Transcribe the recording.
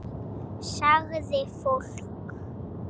Sagði fólk.